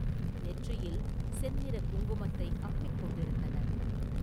நெற்றியில் செந்நிறக் குங்குமத்தை அப்பிக் கொண்டிருந்தனர்.